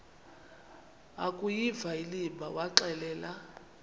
akuyiva inimba waxelela